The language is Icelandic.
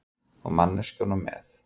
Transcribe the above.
Og manneskjunum með.